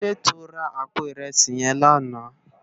Kilódé tó rá àpó irèsí yèn làná?